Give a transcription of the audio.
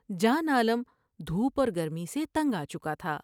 جان عالم دھوپ اور گرمی سے تنگ آ چکا تھا ۔